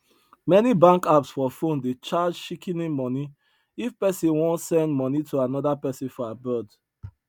many bank apps for phone dey charge shikini money if person wan send money to another person for abroad